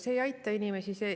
See ei aita inimesi.